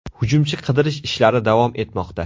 Hujumchi qidirish ishlari davom etmoqda.